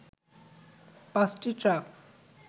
পাঁচটি ট্রাক